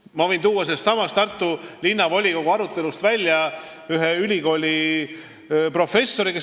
Ma võin tuua sellestsamast Tartu Linnavolikogu arutelust välja ühe ülikooliprofessori sõnad.